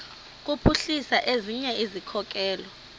kuphuhlisa ezinye izikhokelo